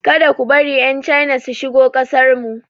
Ka da ku bari 'Yan China su shigo kasarmu.